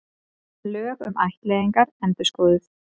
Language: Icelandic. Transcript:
Lög um ættleiðingar endurskoðuð